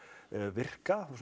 virka og